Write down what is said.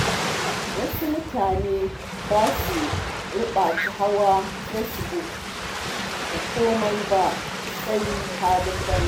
Wasu mutane ba su ribaci hawa Facebook da kome ba sai halin banza.